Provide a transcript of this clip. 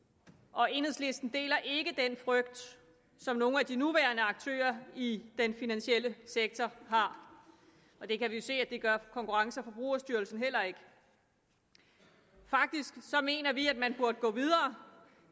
og enhedslisten deler ikke den frygt som nogle af de nuværende aktører i den finansielle sektor har vi kan jo se at det gør konkurrence og forbrugerstyrelsen heller ikke faktisk mener vi at man burde gå videre